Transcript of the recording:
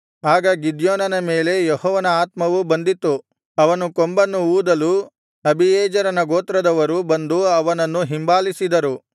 ಆಗ ಗಿದ್ಯೋನನ ಮೇಲೆ ಯೆಹೋವನ ಆತ್ಮವು ಬಂದಿತ್ತು ಅವನು ಕೊಂಬನ್ನು ಊದಲು ಅಬೀಯೆಜೆರನ ಗೋತ್ರದವರು ಬಂದು ಅವನನ್ನು ಹಿಂಬಾಲಿಸಿದರು